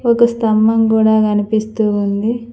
ఒక స్తంభం గూడా కనిపిస్తూ ఉంది.